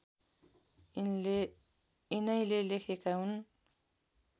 यिनैले लेखेका हुन्